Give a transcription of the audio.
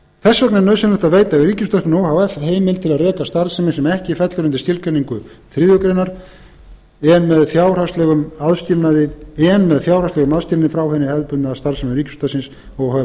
að veita ríkisútvarpinu o h f heimild til að reka starfsemi sem ekki fellur undir skilgreiningu þriðju grein en með fjárhagslegum aðskilnaði frá hinni hefðbundnu starfsemi ríkisútvarpsins o h f samanber fimmtu